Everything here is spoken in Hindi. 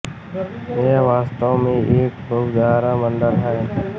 यह वास्तव में एक बहु तारा मंडल है